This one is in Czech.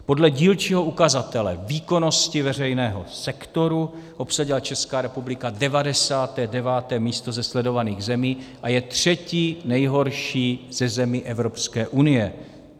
Podle dílčího ukazatele výkonnosti veřejného sektoru obsadila Česká republika 99. místo ze sledovaných zemí a je třetí nejhorší ze zemí Evropské unie.